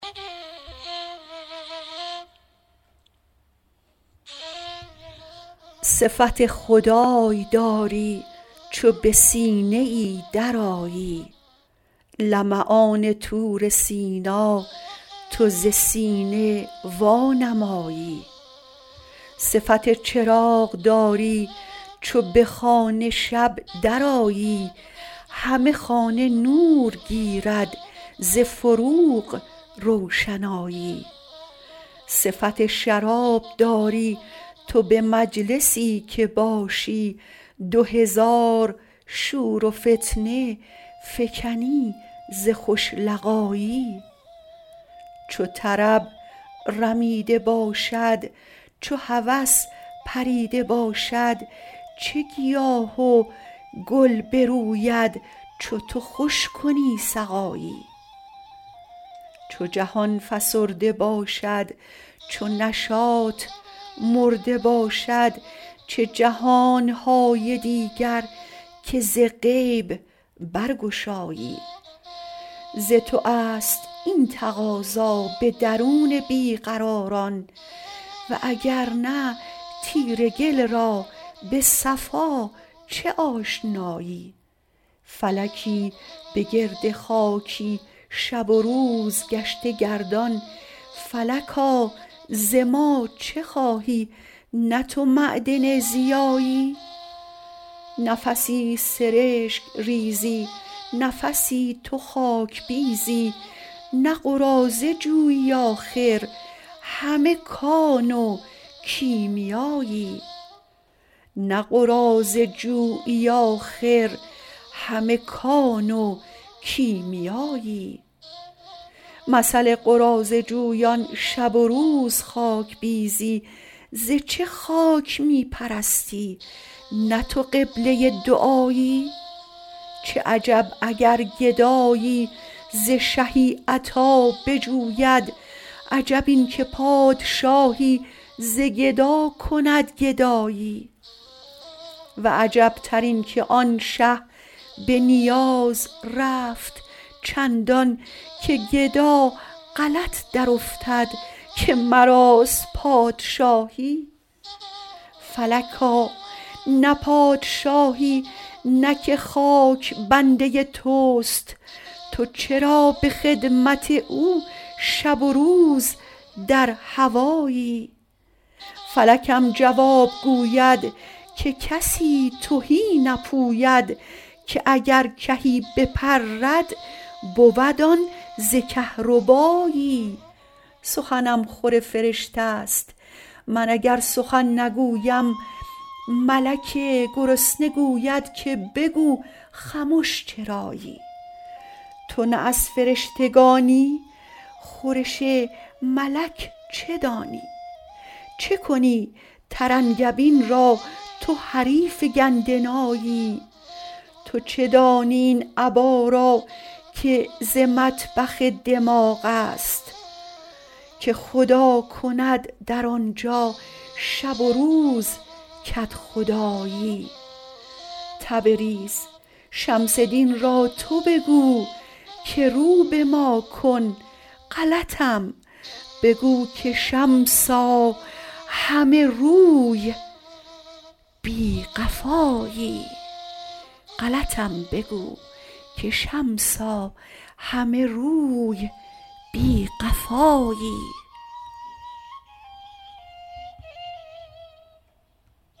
صفت خدای داری چو به سینه ای درآیی لمعان طور سینا تو ز سینه وانمایی صفت چراغ داری چو به خانه شب درآیی همه خانه نور گیرد ز فروغ روشنایی صفت شراب داری تو به مجلسی که باشی دو هزار شور و فتنه فکنی ز خوش لقایی چو طرب رمیده باشد چو هوس پریده باشد چه گیاه و گل بروید چو تو خوش کنی سقایی چو جهان فسرده باشد چو نشاط مرده باشد چه جهان های دیگر که ز غیب برگشایی ز تو است این تقاضا به درون بی قراران و اگر نه تیره گل را به صفا چه آشنایی فلکی به گرد خاکی شب و روز گشته گردان فلکا ز ما چه خواهی نه تو معدن ضیایی نفسی سرشک ریزی نفسی تو خاک بیزی نه قراضه جویی آخر همه کان و کیمیایی مثل قراضه جویان شب و روز خاک بیزی ز چه خاک می پرستی نه تو قبله دعایی چه عجب اگر گدایی ز شهی عطا بجوید عجب این که پادشاهی ز گدا کند گدایی و عجبتر اینک آن شه به نیاز رفت چندان که گدا غلط درافتد که مراست پادشاهی فلکا نه پادشاهی نه که خاک بنده توست تو چرا به خدمت او شب و روز در هوایی فلکم جواب گوید که کسی تهی نپوید که اگر کهی بپرد بود آن ز کهربایی سخنم خور فرشته ست من اگر سخن نگویم ملک گرسنه گوید که بگو خمش چرایی تو نه از فرشتگانی خورش ملک چه دانی چه کنی ترنگبین را تو حریف گندنایی تو چه دانی این ابا را که ز مطبخ دماغ است که خدا کند در آن جا شب و روز کدخدایی تبریز شمس دین را تو بگو که رو به ما کن غلطم بگو که شمسا همه روی بی قفایی